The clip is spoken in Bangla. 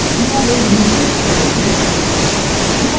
publishyearএর নীচের cell click করুন